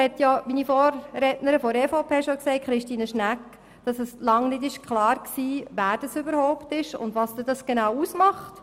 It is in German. Wie meine Vorrednerin der EVP, Christine Schnegg, bereits erwähnt hat, war lange nicht klar, wen es überhaupt betrifft und wie viel es ausmacht.